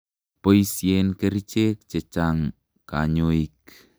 Poisyen kerichek che chang' kanyoik.